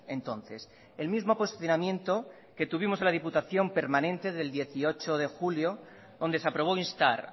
entonces el mismo posicionamiento que tuvimos en la diputación permanente del dieciocho de julio donde se aprobó instar